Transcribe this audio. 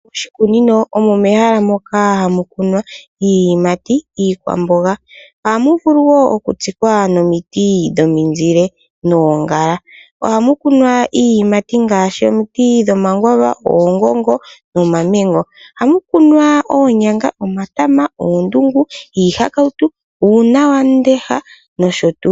Oshikunino omo mehala moka hamu kunwa iiyimati, iikwamboga, ohamu vulu wo okutsikwa omiti dhomizile noongala. Ohamu kunwa iiyimati ngaashi, omiti dhomakwaava, oongongo, nomamengo. Ohamu kunwa oonyanga, omatama, oondungu, iihakawutu, uunonawamundesha nosho tu.